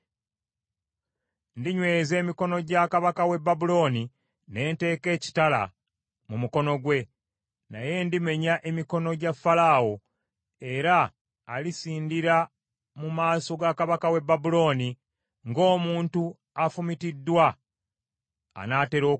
Ndinyweza emikono gya kabaka w’e Babulooni ne nteeka ekitala mu mukono gwe, naye ndimenya emikono gya Falaawo, era alisindira mu maaso ga kabaka w’e Babulooni, ng’omuntu afumitiddwa anaatera okufa.